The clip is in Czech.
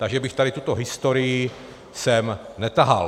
Takže bych tady tuto historii sem netahal.